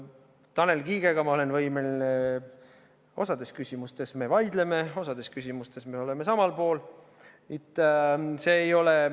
Tanel Kiigega me osas küsimustes vaidleme, osas küsimustes oleme samal poolel.